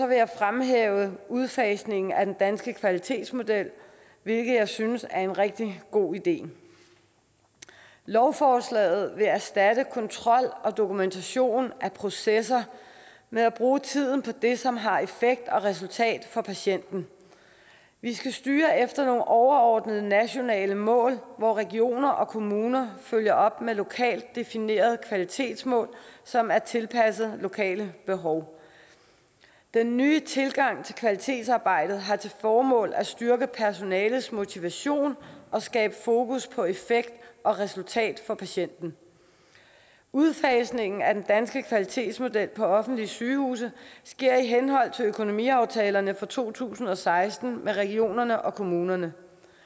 vil jeg fremhæve udfasningen af den danske kvalitetsmodel hvilket jeg synes er en rigtig god idé lovforslaget vil erstatte kontrol og dokumentation af processer med at bruge tiden på det som har effekt og resultat for patienten vi skal styre efter nogle overordnede nationale mål hvor regioner og kommuner følger op med lokalt definerede kvalitetsmål som er tilpasset lokale behov den nye tilgang til kvalitetsarbejdet har til formål at styrke personalets motivation og skabe fokus på effekt og resultat for patienten udfasningen af den danske kvalitetsmodel på offentlige sygehuse sker i henhold til økonomiaftalerne for to tusind og seksten med regionerne og kommunerne